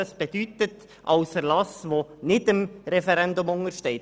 Ein Dekret ist ein Erlass, der nicht dem Referendum untersteht.